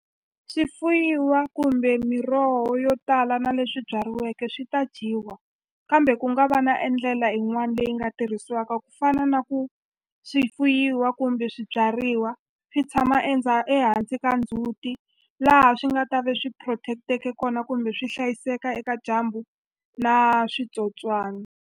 Swi fuyiwa kumbe miroho yo tala na leswi byariweke swi ta dyiwa kambe ku nga va na e ndlela yin'wani leyi nga tirhisiwaka ku fana na ku swi fuyiwa kumbe swibyariwa swi tshama ehansi ka ndzhuti laha swi nga ta ve swi protect-eke kona kumbe swi hlayiseka eka dyambu na switsotswana.